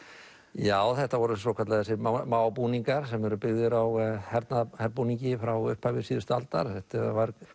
já þetta voru svokallaðir búningar sem eru byggðir á frá upphafi síðustu aldar þetta var